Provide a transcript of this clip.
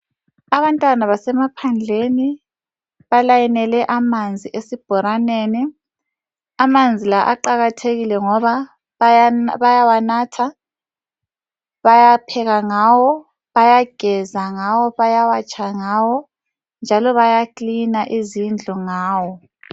Abantwana basemaphandleni balayinele amanzi esibhorareni. Amanzi la aqakathekile ngoba bayawanatha, bayapheka ngawo, bayageza ngawo, bayawatsha ngawo njalo bayaklina izindlu ngawo.